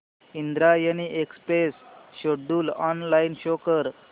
Indrayani express schedule online show कर